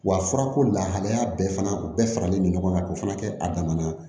Wa furako lahalaya bɛɛ fana u bɛɛ faralen bɛ ɲɔgɔn kan k'o fana kɛ a dama na